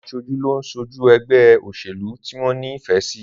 Àwọn aṣojú ló ń ṣojú ẹgbẹ́ òṣèlú tí wọ́n ní ìfẹ́ sí